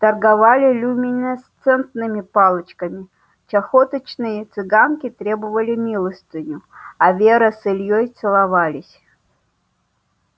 торговали люминесцентными палочками чахоточные цыганки требовали милостыню а вера с ильёй целовались